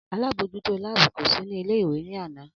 Alábòójútó láàbù kò sí ní ilé ìwé ní àná